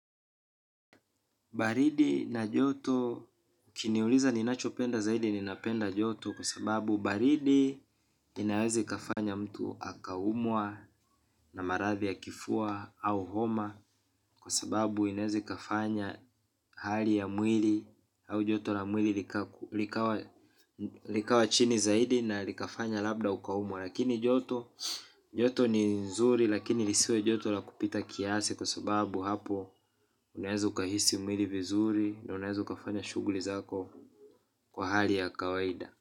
Baridi na joto ukiniuliza ninachopenda zaidi ninapenda joto kwa sababu baridi inaweza ikafanya mtu akaumwa na maradhi ya kifua au homa kwa sababu inaweza ikafanya hali ya mwili au joto la mwili likaku likawa likawa chini zaidi na likafanya labda ukaumwa. Lakini joto, joto ni nzuri lakini lisiwe joto la kupita kiasi kwa sababu hapo unaeza ukahisi mwili vizuri na unaeza ukafanya shughuli zako kwa hali ya kawaida.